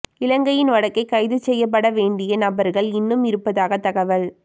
இலங்கையின் வடக்கே கைது செய்யப்பட வேண்டிய நபர்கள் இன்னும் இருப்பதாக தகவல்